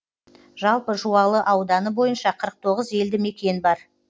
жалпы жуалы ауданы бойынша қырық тоғыз елді мекен бар